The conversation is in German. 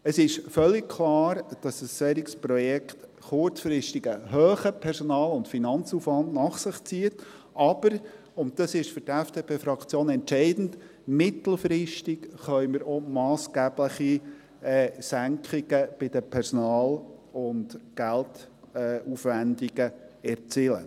Es ist völlig klar, dass ein solches Projekt kurzfristig einen hohen Personal- und Finanzaufwand nach sich zieht, aber – und das ist für die FDP-Fraktion entscheidend – mittelfristig können wir massgebliche Senkungen bei den Personal- und Geldaufwendungen erzielen.